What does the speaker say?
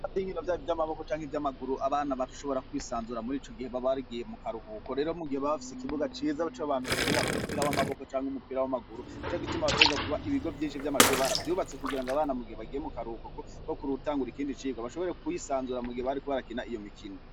Avyinkiro vyayo vy'amaboko canke ivy'amaguru abana batushobora kwisanzura muri ico gihe babargiye mu karuhuko rero mu gihe babafise ikibuga ceza co bantu bakenera umupira w'amaboko canke umupira w'amaguru nico gituma baterezwa kuba ibigo vyinshi vy'amashuri baravyubatse kugira ngo abana mugihe bagiye mu karuhukoko ko kuri uwutangura ikindi cirwa bashobore kuwisanzura mugihe barikubarakina iyo mikino.